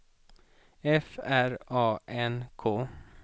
F R A N K